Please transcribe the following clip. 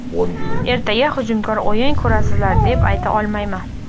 Ertaga hujumkor o‘yin ko‘rasizlar, deb ayta olmayman.